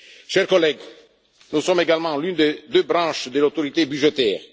Chers collègues, nous sommes également l'une des deux branches de l'autorité budgétaire.